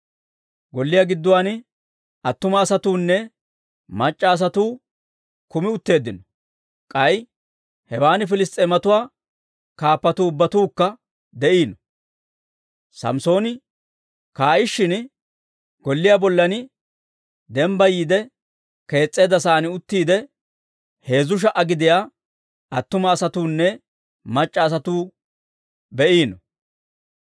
Golliyaa gidduwaan attuma asatuunne mac'c'a asatuu kumi utteeddino; k'ay hewan Piliss's'eematuwaa kaappatuu ubbatuukka de'iino. Samssooni kaa'ishin, golliyaa bollan dembbayiide kees's'eedda sa'aan uttiide, heezzu sha"a gidiyaa attuma asatuunne mac'c'a asatuu be'iino.